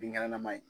Binkɛnɛnaman ye